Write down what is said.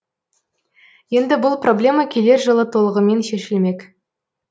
енді бұл проблема келер жылы толығымен шешілмек